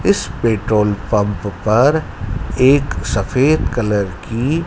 इस petrol pump पर एक सफेद कलर की--